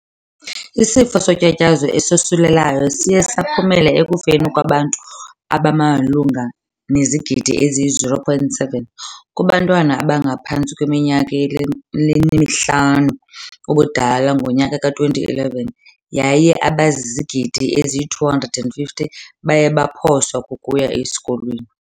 Isifo sotyatyazo esosulelayo siye saphumela ekufeni kwabantu abamalunga nezigidi eziyi- 0.7 kubantwana abangaphantsi kweiminyaka emihlanu ubudala ngo-2011 yaye abazizigidi ezyi-250 baye baphoswa kukuya esikolweni.